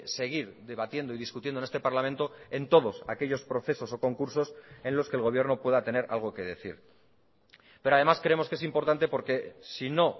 seguir debatiendo y discutiendo en este parlamento en todos aquellos procesos o concursos en los que el gobierno pueda tener algo que decir pero además creemos que es importante porque si no